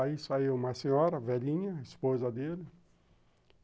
Aí saiu uma senhora, velhinha, esposa dele.